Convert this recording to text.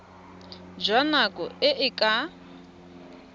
jwa nako e e ka